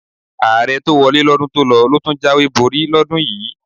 Ààrẹ tó wọlé lọ́dún tó lọ ló tún jáwèé borí lọ́dún yìí.